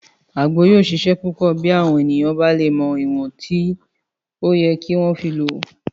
Àgbo yóò ṣiṣẹ́ púpọ̀ bí àwọn ènìyàn bá lè mọ ìwọ̀n tó yẹ kí wọ́n fi lò ó